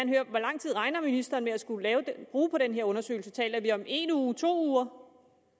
høre hvor lang tid regner ministeren med at skulle bruge på den her undersøgelse taler vi om en uge to uger